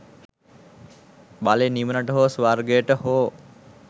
බලෙන් නිවනට හෝ ස්වර්ගයට හෝ